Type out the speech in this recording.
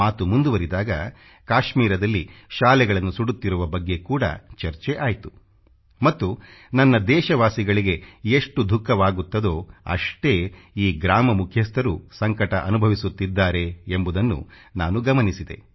ಮಾತು ಮುಂದುವರಿದಾಗ ಕಾಶ್ಮೀರದಲ್ಲಿ ಶಾಲೆಗಳನ್ನು ಸುಡುತ್ತಿರುವ ಬಗ್ಗೆ ಕೂಡ ಚರ್ಚೆ ಆಯ್ತು ಮತ್ತು ನನ್ನ ದೇಶವಾಸಿಗಳಿಗೆ ಎಷ್ಟು ದುಖಃವಾಗುತ್ತದೋ ಅಷ್ಟೇ ಈ ಗ್ರಾಮ ಮುಖ್ಯಸ್ಥರೂ ಸಂಕಟ ಅನುಭವಿಸುತ್ತಿದ್ದಾರೆ ಎಂಬುದನ್ನು ನಾನು ಗಮನಿಸಿದೆ